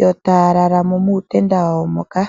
yo taya lala muutenda wawo moka.